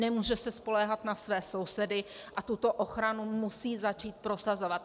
Nemůže se spoléhat na své sousedy a tuto ochranu musí začít prosazovat.